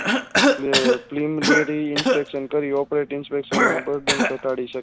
તે Cleanderyinspection પેલી opretiveSpecson ની